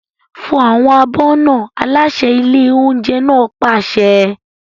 Fọ àwọn abọ́ náà! Aláṣẹ ilé oúnjẹ náà pàṣẹ.